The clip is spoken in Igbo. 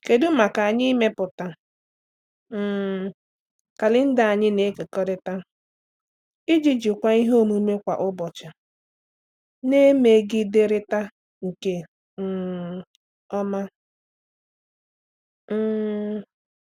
Kedu maka anyị ịmepụta um kalenda anyị na-ekekọrịta iji jikwaa ihe omume kwa ụbọchị na-emegiderịta nke um ọma? um